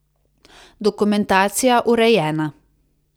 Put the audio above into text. Dokumentacija urejena.